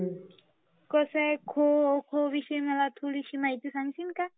कसा आहे ना खो खो विषयी मला थोडी महती सांगशील काय?